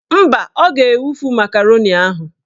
Mba, ọ ga-ewufu makaroni ahụ